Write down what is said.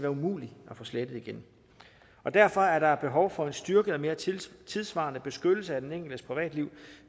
umulig at få slettet igen derfor er der behov for en styrket og mere tidssvarende beskyttelse af den enkeltes privatliv